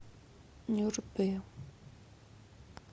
нюрбе